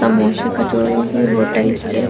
समोसे कचोरी भी होटल के --